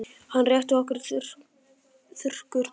Hann rétti okkur þurrkurnar.